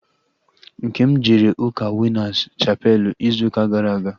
Nkem jere ụka Winas chapelu ịzụ ụka gara aga